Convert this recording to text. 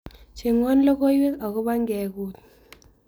Chengwon logoiiwek akoboo ngeguut